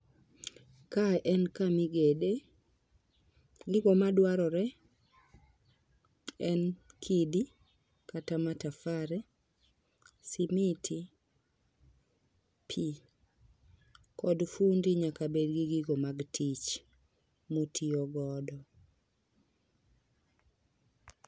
Kae en kama igede, gigo madware en kidi, kata matafari, simiti ,pii kod fundi nyaka bedgi gigo mag tich motiyo godo.